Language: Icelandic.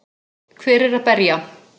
Hver er að berja?